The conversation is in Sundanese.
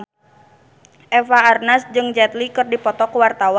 Eva Arnaz jeung Jet Li keur dipoto ku wartawan